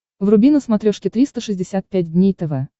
вруби на смотрешке триста шестьдесят пять дней тв